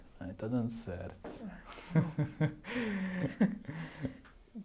Né e está dando certo.